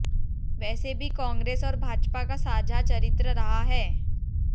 वैसे भी कांग्रेस और भाजपा का साझा चरित्र रहा है